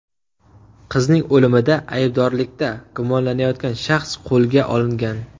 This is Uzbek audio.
Qizning o‘limida aybdorlikda gumonlanayotgan shaxs qo‘lga olingan.